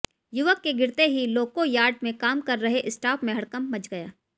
युवक के गिरते ही लोको यार्ड में काम कर रहे स्टाफ में हड़कम्प मच गया